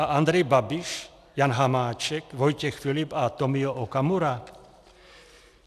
A Andrej Babiš, Jan Hamáček, Vojtěch Filip a Tomio Okamura?